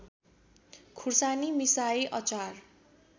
खुर्सानी मिसाई अचार